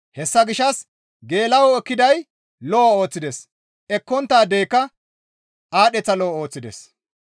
Hessa gishshas geela7oyo ekkidaadey lo7o ooththides; ekkonttaadeyka aadheththa lo7o ooththides.